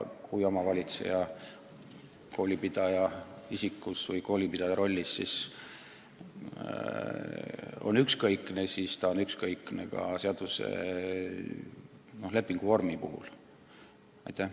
Kui omavalitseja koolipidaja rollis on ükskõikne, siis ta on ükskõikne ka lepingut pikendades.